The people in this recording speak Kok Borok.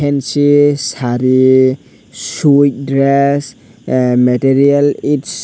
misi sari sweet dress material it's.